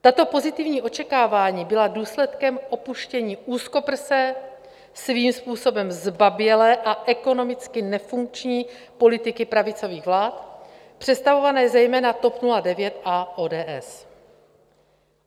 Tato pozitivní očekávání byla důsledkem opuštění úzkoprsé, svým způsobem zbabělé a ekonomicky nefunkční politiky pravicových vlád, představované zejména TOP 09 a ODS.